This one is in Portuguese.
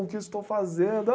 O que eu estou fazendo?